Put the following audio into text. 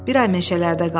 Bir ay meşələrdə qaldım.